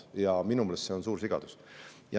Ja minu meelest see on suur sigadus.